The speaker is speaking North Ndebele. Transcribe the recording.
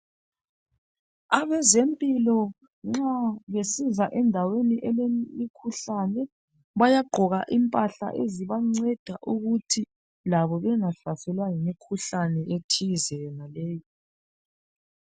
Abezempilo nxa besiza endaweni elemikhuhlane bayagqoka impahla ezibanceda ukuthi labo bengahlaselwa yimikhuhlane ethize yonaleyo.